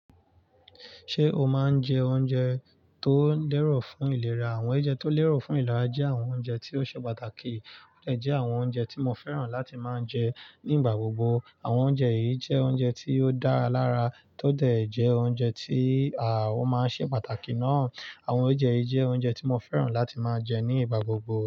Ṣé o máa ń jẹ oúnjẹ tó lẹ́rọ̀ fún ìlera? Àwọn oúnjẹ tó lẹ́rọ̀ fún ìlera jẹ́ àwọn oúnjẹ tí ó ṣe pàtàkì ó dè jẹ́ àwọn oúnjẹ tí mo fẹ́ràn láti máa ń jẹ ní ìgbà gbogbo. Àwọn oúnjẹ yìí jẹ́ oúnjẹ tí ó dára lára tó dẹ̀ jẹ́ oúnjẹ tí ó máa ń ṣe pàtàkì náà. Àwọn oúnjẹ yìí jẹ́ oúnjẹ tí mo fẹ́ràn láti máa jẹ ní ìgbà gbogbo.